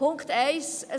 Punkt 1